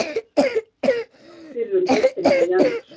Er glórulaust að spá fyrir um deildina í janúar?